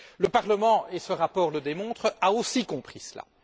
Le Parlement, et ce rapport le démontre, a aussi compris cela.